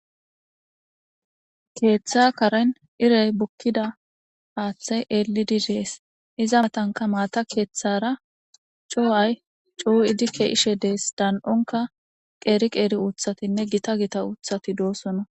Keetha karen iray bukida haathay elidi dees. Izadanka maata kethara c'uwa c"uwidi kezishe dees. Dan'onka qeri qeri uthatinne gita gita uthati de'osona.